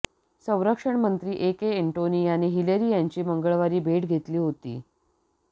संरक्षण मंत्री ए के एंटोनी यांनी हिलेरी यांची मंगळवारी भेट घेतली होती